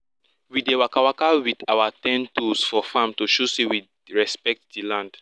we dey waka with our ten toes for farm to show say we respect di land